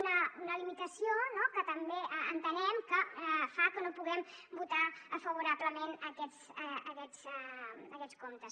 una limitació no que també entenem que fa que no puguem votar favorablement aquests comptes